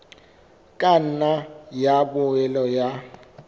ka nna ya boela ya